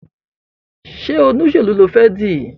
Ṣe Olóṣèlú ní o fè di?